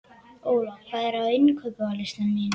Óla, hvað er á innkaupalistanum mínum?